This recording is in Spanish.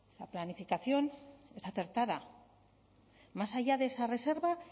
la planificación es acertada más allá de esa reserva